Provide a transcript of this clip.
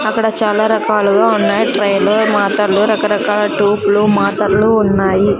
అక్కడ చాలా రకాలుగా ఉన్నాయి ట్రే లో మాతర్లు రకరకాల టూప్లు మాతరలు ఉన్నాయి.